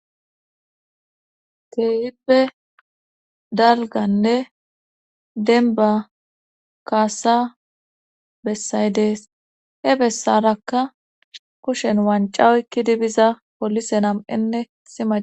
Keehippe dalganne denba kaasa bessay dees he bessarakka kushen wancawoykki dibiza polise nam7enne sima